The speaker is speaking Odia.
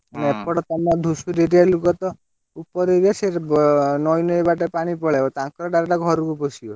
ଏପଟେ ତମ ଧୁସୁରୀ area ର ଲୋକତ ଉପର area ସେ ନଈ ନଈ ବାଟେ ପାଣି ପଳେଇବ ତାଙ୍କରି direct ଘରକୁ ପଶିବ।